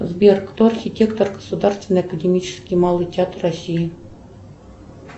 сбер кто архитектор государственный академический малый театр россии